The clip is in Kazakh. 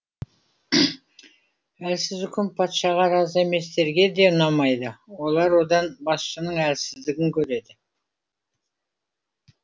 әлсіз үкім патшаға разы еместерге де ұнамайды олар одан басшының әлсіздігін көреді